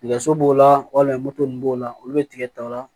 Nɛgɛso b'o la walima moto ninnu b'o la olu bɛ tigɛ ta o la